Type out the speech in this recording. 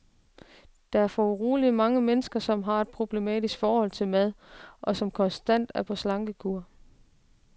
Der er foruroligende mange mennesker, som har et problematisk forhold til mad, og som konstant er på slankekur.